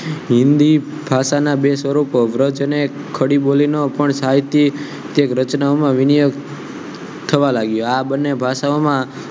હિન્દી ભાષા ના બે સ્વરુપો વ્રજ અને ખડી બોલીનો પણ સાહિત્ય રચનાના વિનય થવા લાગ્યો આ બંને ભાષાઓમાં